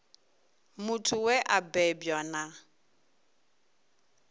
muthu we a bebwa na